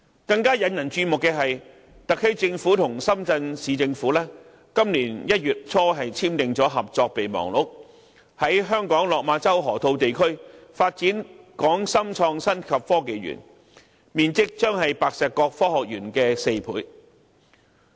更引人注目的是，特區政府和深圳市政府今年1月初簽訂合作備忘錄，在香港落馬洲河套地區發展港深創新及科技園，面積將是白石角科學園的4倍。